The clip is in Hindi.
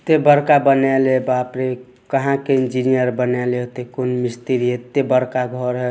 ते बड़का बनैले हे बाप रे कहाँ के इंजीनियर बनैले होतइ कौन मिस्त्री एते बड़का घर है ।